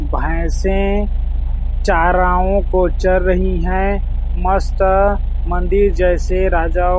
भैंसें चाराओं को चर रही हैं मस्त मंदिर जैसे राजा --